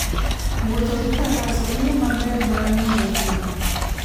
Wuotho gi Faras en yo maber mar ng'iyo thim.